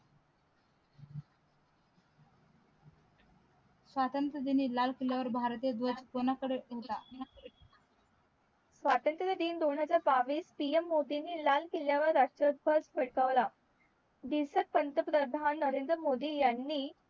स्वतंत्र दिन लाल किल्ला वर भारतीय दवज कोना कडे ठेवला स्वतंत्र दिन दोन हजार बावीस PM मोदी ने लाल किल्ला वर राष्ट्र दवज फडकवला दिलस्ट पंत प्रधान नरेन्द्र मोदी यांनी